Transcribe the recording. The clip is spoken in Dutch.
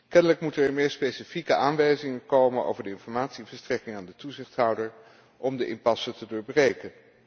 Kennelijk moeten er meer specifieke aanwijzingen komen over de informatieverstrekking aan de toezichthouder om de impasse te doorbreken.